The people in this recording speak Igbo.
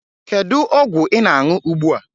Kedu ọgwụ ị na-aṅụ ugbu a?